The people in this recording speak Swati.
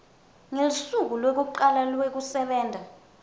ngelusuku lwekucala lwekusebenta